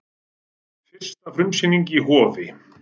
Fyrsta frumsýningin í Hofi